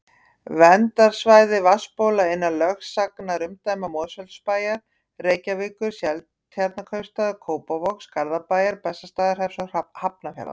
Verndarsvæði vatnsbóla innan lögsagnarumdæma Mosfellsbæjar, Reykjavíkur, Seltjarnarneskaupstaðar, Kópavogs, Garðabæjar, Bessastaðahrepps og Hafnarfjarðar.